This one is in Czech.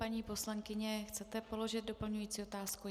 Paní poslankyně, chcete položit doplňující otázku?